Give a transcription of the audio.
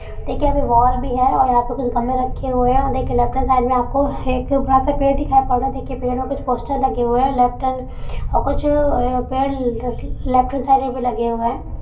देखिए यहां पे बॉल भी है यहां पे कुछ गमले रखे हुए है और देखिए लेफ्ट हैंड साइड में आपको पेड़ दिखाई पड़ रहा है देखिए पेड़ में कुछ पोस्टर लगे हुए है लेफ्ट हैंड में कुछ पेड़ अ- लेफ्ट हैंड साइड में भी लगे हुए हैं।